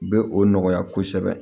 U bɛ o nɔgɔya kosɛbɛ